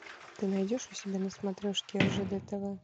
ты найдешь у себя на смотрешке ржд тв